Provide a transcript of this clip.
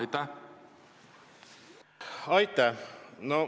Aitäh!